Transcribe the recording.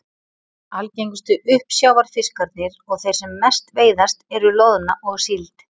Algengustu uppsjávarfiskarnir og þeir sem mest veiðast eru loðna og síld.